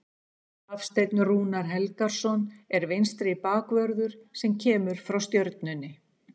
Hafsteinn Rúnar Helgason er vinstri bakvörður sem kemur frá Stjörnunni.